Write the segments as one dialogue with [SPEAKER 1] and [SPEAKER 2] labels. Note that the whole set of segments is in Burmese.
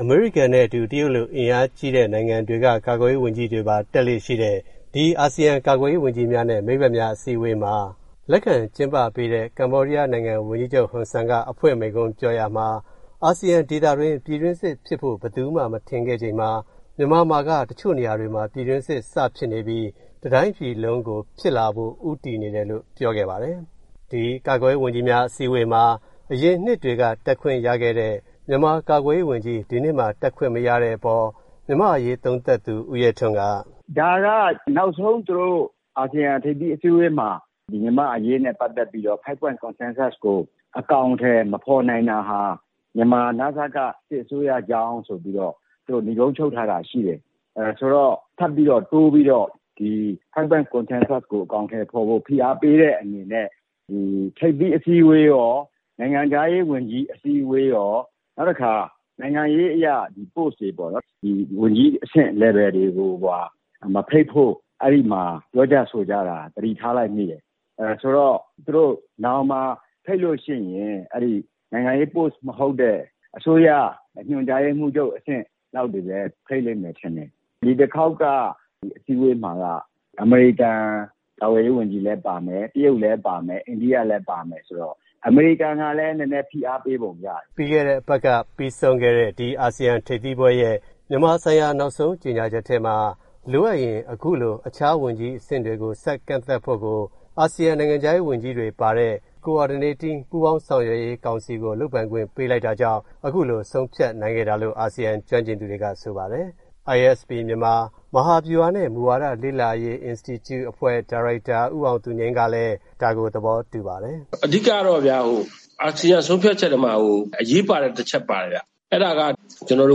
[SPEAKER 1] အမေရိကန်နဲ့ အတူ တရုတ်လို အင်အားကြီးတဲ့ နိုင်ငံတွေက ကာကွယ်ရေး ဝန်ကြီးတွေပါ တက်လေ့ ရှိတဲ့ ဒီ အာဆီယံ ကာကွယ်ရေး ဝန်ကြီးများနဲ့ မိတ်ဖက်များ အစည်းအဝေးမှာ လက်ခံကျင်းပပေးတဲ့ ကမေ ္ဘာဒီးယား နိုင်ငံ ဝန်ကြီးချုပ် ဟွန်ဆန်က အဖွင့်မိန့်ခွန်း ပြောရာမှာ အာဆီယံ ဒေသတွင်း ပြည်တွင်းစစ်ဖြစ်ဖို့ ဘယ်သူမှ မထင်ခဲ့ချိန်မှာ မြန်မာမှာက တချို့ နေရာတွေမှာ ပြည်တွင်းစစ် စဖြစ်နေပြီး တတိုင်းပြည်လုံးကို ဖြစ်လာဖို့ ဦးတည်နေတယ်လို့ ပြောခဲ့ပါတယ်။ ဒီကာကွယ်ရေး ဝန်ကြီးများ အစည်းအဝေးမှာ အရင်နှစ်တွေက တက်ခွင့် ရခဲ့တဲ့ မြန်မာ ကာကွယ်ရေး ဝန်ကြီး ဒီနှစ်မှာ တက်ခွင့် မရတဲ့ အပေါ် မြန်မာ့ အရေး သုံးသပ်သူ ဦးရဲထွန်းက “ဒါက သူတို့ နောက်ဆုံး အာဆီယံ ထိပ်သီး အစည်းအဝေးမှာ မြန်မာ့ အရေးနဲ့ ပတ်သက်ပြီးတော့ Five Point
[SPEAKER 2] Consensus ကို အကောင်အထည် မဖော်နိုင်တာဟာ မြန်မာ နစက စစ်အစိုးရကြောင့်လို့ ဆိုပြီးတော့ နိဂုံးချုပ်ထားတာ ရှိတယ်။ ထပ်ပြီးတော့ တိုးပြီးတော့ Five Point Consensus ကို အကောင်အထည် ဖော်ဖို့ ဖိအားပေးတဲ့ အနေနဲ့ ဒီ ထိပ်သီး အစည်းအဝေးရော၊ နိုင်ငံခြားရေး ဝန်ကြီးအစည်းအဝေးရော၊ နောက်တခါ နိုင်ငံရေး အရ Post တွေ ပေါ့နော် ဒီ ဝန်ကြီးအဆင့် လယ်ဗယ်တွေကိုပါ မဖိတ်ဖို့ အဲဒီမှာ ပြောကြ ဆိုကြတာ သတိထားလိုက်မိတယ်။ ဆိုတော့ သူတို့ နောင်မှာ ဖိတ်လို့ ရှိရင် နိုင်ငံရေးပိုစ့် မဟုတ်တဲ့ အစိုးရက ညွှန်ကြားရေးမှူးချုပ် အဆင့်လောက်တွေဘဲ ဖိတ်လိမ့်မယ်ထင်တယ်။ ဒီတခေါက်က အစည်းအဝေးမှာက အမေရိကန် ကာကွယ်ရေး ဝန်ကြီးလည်း ပါမယ်၊ တရုတ်လည်း ပါမယ်၊ အိန္ဒိယလည်း ပါမယ်ဆိုတော့ အမေရိကန် ကလည်း နည်းနည်း ဖိအားပေးပုံ ရတယ်။
[SPEAKER 1] ” ပြီးခဲ့တဲ့ အပတ်က ပြီးဆုံးခဲ့တဲ့ ဒီ အာဆီယံ ထိပ်သီးပွဲရဲ့ မြန်မာဆိုင်ရာ နောက်ဆုံး ကြေညာချက်ထဲမှာ လိုအပ်ရင် အခုလို အခြား ဝန်ကြီး အဆင့်တွေကို ဆက် ကန့်သတ်ဖို့ကို အာဆီယံ နိုင်ငံခြားရေး ဝန်ကြီးတွေ ပါတဲ့ ပူးပေါင်းဆောင်ရွက်ရေး ကောင်စီကို လုပ်ပိုင်ခွင့် ပေးလိုက်တာကြောင့် အခုလို ဆုံးဖြတ်နိုင်ခဲ့တာလို့ အာဆီယံ ကျွမ်းကျင်သူတွေက ဆိုပါတယ်။ ISP မြန်မာ မဟာဗျူဟာနဲ့ မူဝါဒ လေ့လာရေး အင်စတီကျူ အဖွဲ့ ဒါရိုက်တာ ဦးအောင်သူငြိမ်းကလည်း ဒါကို သဘောတူပါတယ်။
[SPEAKER 2] “ အဓိက ကတော့ဗျာ အာဆီယံ ဆုံးဖြတ်ချက်ထဲမှာ အရေးပါတဲ့ တချက် ပါတယ်ဗျ။ အဲဒါကတော့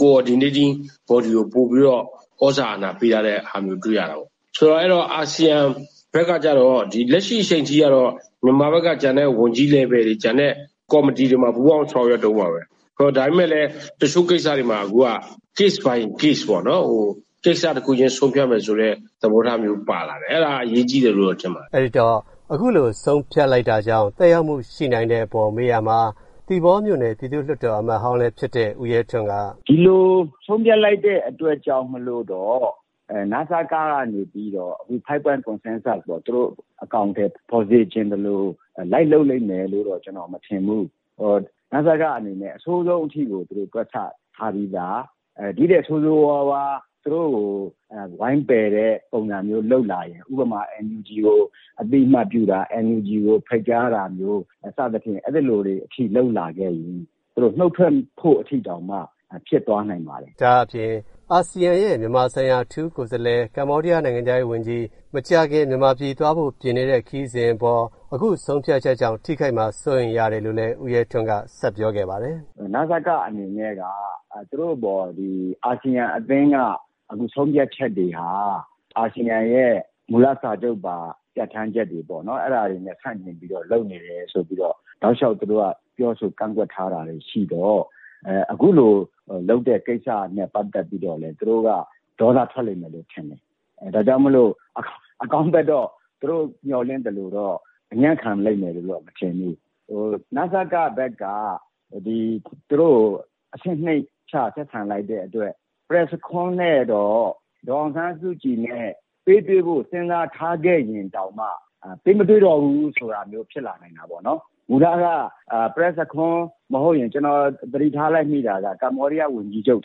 [SPEAKER 2] Coordinating Body ကို ပိုပြီးတော့ သြဇာအာဏာ ပေးထားတာမျိုး တွေ့ရတာပေါ့။ ဆိုတော့ အာဆီယံ ဘက်က ကျတော့ ဒီ လက်ရှိ အချိန်ထိကတော့ ဒီ မြန်မာဘက်က ကျန်တဲ့ ဝန်ကြီး အဆင့်တွေ ကျန်တဲ့ ကော်မတီတွေမှာ ပူးပေါင်းဆောင်ရွက်တုန်းပါဘဲ။ ဒါပေမဲ့လည်း တချို့ ကိစ္စတွေမှာ အခုက Case by Case ပေါ့နော် ကိစ္စ တခုချင်းစီ ဆုံးဖြတ်မယ် ဆိုတဲ့ သဘောထားမျိုး ပါလာတယ်။ အဲဒါက အရေးကြီးတယ်လို့တော့ ထင်ပါတယ
[SPEAKER 1] ်။ ” အဲဒီတော့ အခုလို ဆုံးဖြတ်လိုက်တာကြောင့် သက်ရောက်မှု ရှိနိုင်တဲ့ အပေါ် မေးရာမှာ သီပေါ မြို့နယ် ပြည်သူ့လွှတ်တော် အမတ်ဟောင်းလည်း ဖြစ်တဲ့ ဦးရဲထွန်းက “
[SPEAKER 2] ဒီလို ဆုံးဖြတ်လိုက်တဲ့ အတွက်ကြောင့်မို့လို့တော့ နစက က နေပြီးတော့ အခု Five Point Consensus ကို သူတို့ အကောင်အထည် ဖော်စေချင်သလို လိုက်လုပ်လိမ့်မယ်လို့တော့ ကျနော် မထင်ဘူး။ နစက အနေနဲ့ အဆိုးဆုံးထိကို သူတို့ တွက်ဆ ထားပြီးသား။ ဒီထက် ဆိုးဆိုးဝါးဝါး သူတို့ကို ဝိုင်းပယ်တဲ့ ပုံစံမျိုး လုပ်လာရင် ဥပမာ NUG ကို အသိအမှတ်ပြုတာ၊ NUG ကို ဖိတ်ကြားတာမျိုး စသဖြင့် အဲသလို အထိ လုပ်လာခဲ့ရင် နုတ်ထွက်ဖို့ အထိတောင်မှ ဖြစ်သွား
[SPEAKER 1] နိုင်ပါတယ်။ ” ဒါ့အပြင် အာဆီယံရဲ့ မြန်မာဆိုင်ရာ အထူးကိုယ်စားလှယ် ကမေ ္ဘာဒီးယား နိုင်ငံခြားရေး ဝန်ကြီး မကြာခင် မြန်မာပြည် သွားဖို့ ပြင်နေတဲ့ ခရီးစဉ် အပေါ် အခု ဆုံးဖြတ်ချက်ကြောင့် ထိခိုက်မှာ စိုးရိမ်ရတယ်လို့လည်း ဦးရဲထွန်းက ဆက်ပြောခဲ့ပါတယ်
[SPEAKER 2] ။ “ နစက အနေနဲ့က သူတို့ အပေါ် အာဆီယံ အသင်းက ဆုံးဖြတ်ချက်တွေဟာ အာဆီယံရဲ့ မူလ စာချုပ်ပါ ပြဌာန်းချက်တွေပေါ့နော် အဲဒါတွေနဲ့ ဆန့်ကျင်ပြီးတော့ လုပ်နေတယ် ဆိုပြီးတော့ တောက်လျောက် သူတို့က ပြောဆို ကန့်ကွက်ထားတာလည်း ရှိတော့ အခုလို လုပ်တဲ့ ကိစ္စနဲ့ ပတ်သက်ပြီးတော့လည်း သူတို့က ဒေါသထွက်လိမ့်မယ်လို့ ထင်တယ်။ ဒါကြောင့်မို့လို့ အကောင်းဘက်တော့ သူတို့ မျှော်လင့်သလိုတော့ အညံ့ခံလိမ့်မယ်လို့တော့ မထင်ဘူး။ နစက ဘက်က သူတို့ကို အဆင့်နှိမ့်ချ ဆက်ဆံလိုက်တဲ့ အတွက် Prak Sokhonn နဲ့တော့ ဒေါ်အောင်ဆန်းစုကြည်နဲ့ ပေးတွေ့ဖို့ စဉ်းစားထားခဲ့ရင်တောင်မှ ပေးမတွေ့တော့ဘူး ဆိုတာမျိုး ဖြစ်လာနိုင်တာပေါ့နော်။ မူလက Prak Sokhonn မဟုတ်ရင် ကျနော် သတိထားလိုက်မိတာက ကမေ ္ဘာဒီးယား ဝန်ကြီးချုပ်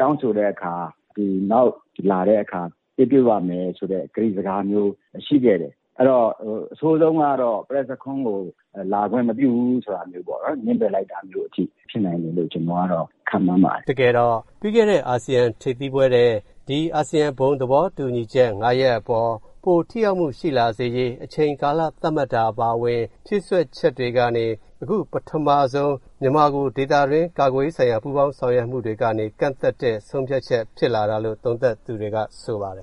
[SPEAKER 2] တောင်းဆိုတဲ့ အခါ နောက် လာတဲ့ အခါ ပေးတွေ့ပါ့မယ် ဆိုတဲ့ ကတိစကားမျိုး ရှိခဲ့တယ်။ အဲတော့ အဆိုးဆုံးကတော့ Prak Sokhonn ကိုလာခွင့် မပြုဘူ
[SPEAKER 1] းဆိုတာမျိုးပေါ့နော် ငြင်းပယ်လိုက်တာ
[SPEAKER 2] မျိုး အထိ ဖြစ်နိုင်တယ်လို့ ကျနော် ကတော့ ခန့်မှန်းပါတယ်။ ” တကယ
[SPEAKER 1] ်တော့ ပြီးခဲ့တဲ့ အာဆီယံ ထိပ်သီးပွဲထက် ဒီ အာဆီယံ ဘုံ သဘောတူညီချက် ၅ ရပ် အပေါ် ပို ထိရောက်မှု ရှိလာစေရေး အချိန်ကာလ သတ်မှတ်တာ အပါအဝင် ဖြည်စွက်ချက်တွေကနေ အခု ပထမဆုံး မြန်မာကို ဒေသတွင်း ကာကွယ်ရေးဆိုင်ရာ ပူးပေါင်းဆောင်ရွက်မှုတွေကနေ ကန့်သတ်တဲ့ ဆုံးဖြတ်ချက် ဖြစ်လာတာလို့ သုံးသပ်သူတွေက ဆိုပါတယ်